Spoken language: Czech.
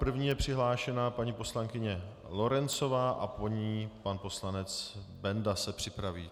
První je přihlášena paní poslankyně Lorencová a po ní pan poslanec Benda se připraví.